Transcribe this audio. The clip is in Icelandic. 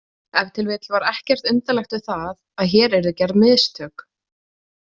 Ef til vill var ekkert undarlegt við það að hér yrðu gerð mistök.